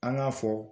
An k'a fɔ